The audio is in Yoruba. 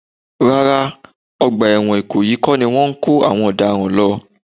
Rárá, ọgbà ẹ̀wọ̀n ìkòyí kọ́ ni wọ́n ń kó àwọn ọ̀daràn lọ